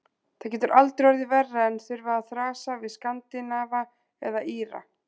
Það getur aldrei orðið verra en þurfa að þrasa við Skandinava eða Íra.